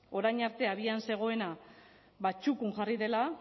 orain arte abian zegoena txukun jarri dela